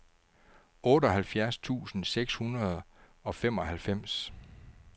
otteoghalvfjerds tusind seks hundrede og femoghalvfems